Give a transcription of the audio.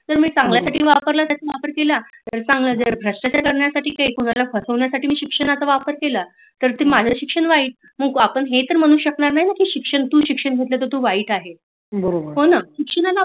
तर मी चांगल्या गोष्टी साठी वापरला तर चांगल आहे जर भ्रष्टचार करण्या साटी कुणाला फसवण्यासाटी मी शिक्षणात वापर केला तर माझ शिक्षण वाइट आपण हे तर म्हणू शकत नाही ना तू शिक्षण घेतल तर तू वाईट आहे हो ना